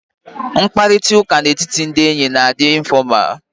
Mkparịta ụka na etiti ndị enyi na adị infọmalụ